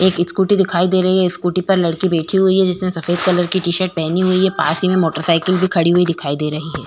एक स्कूटी दिखाई दे रही है स्कूटी पर लड़की बैठी हुई है जिसने सफेद कलर की टीशर्ट पहनी हुई है पास ही में मोटरसाइकिल भी खड़ी हुई दिखाई दे रही है।